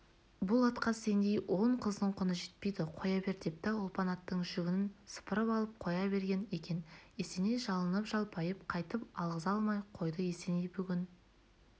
бұл атқа сендей он қыздың құны жетпейді қоя бер депті ұлпан аттың жүгенін сыпырып алып қоя берген екен есеней жалынып-жалпайып қайтып алғыза алмай қойды есеней бүгін